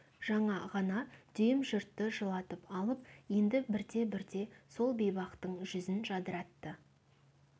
жаңа ғана дүйім жұртты жылатып алып енді бірте-бірте сол бейбақтың жүзін жадыратты